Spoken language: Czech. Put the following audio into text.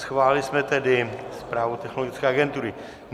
Schválili jsme tedy zprávu Technologické agentury.